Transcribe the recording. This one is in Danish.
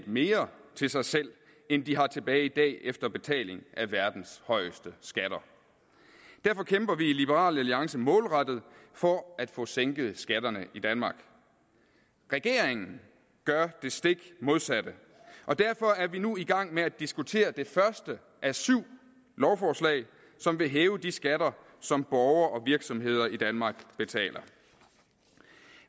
mere til sig selv end de har tilbage i dag efter betaling af verdens højeste skatter derfor kæmper vi i liberal alliance målrettet for at få sænket skatterne i danmark regeringen gør det stik modsatte og derfor er vi nu i gang med at diskutere det første af syv lovforslag som vil hæve de skatter som borgere og virksomheder i danmark betaler